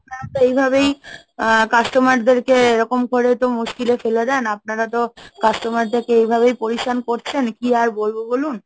আপনারা তো এই ভাবেই আহ customer দের কে এরকম করে তো মুশকিলে ফেলে দেন, আপনারা তো customer দের কে এইভাবেই hindi করছেন। কি আর বলবো বলুন?